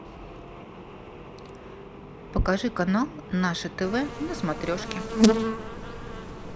покажи канал наше тв на смотрешке